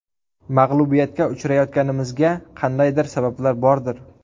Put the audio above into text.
Mag‘lubiyatga uchrayotganimizga qandaydir sabablar bordir.